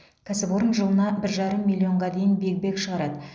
кәсіпорын жылына бір жарым миллионға дейін биг бэг шығарады